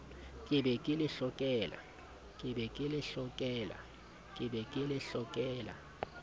ke be ke le hlokela